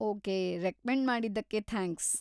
Okay, recommend ಮಾಡಿದ್ದಕ್ಕೆ thanks .